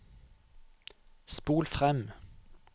spol frem